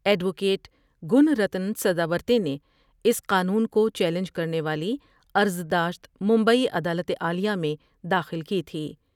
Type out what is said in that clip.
Advocate Gunratan Sadavarte نے اس قانون کو چیلنج کرنے والی عرضداشت مبئی عدالت عالیہ میں داخل کی تھی ۔